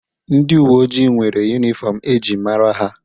Ndi uwe ojii nwere yuniform e ji mara ha.